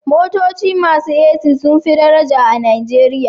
Motoci masu AC sun fi daraja a Najeriya